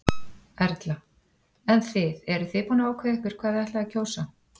Erla: En þið eru þið búin að ákveða ykkur hvað þið ætlið að kjósa?